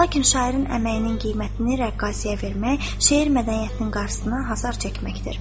Lakin şairin əməyinin qiymətini rəqqasiyə vermək, şeir mədəniyyətinin qarşısına hasar çəkməkdir.